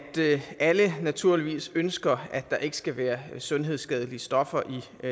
alle naturligvis ønsker at der ikke skal være sundhedsskadelige stoffer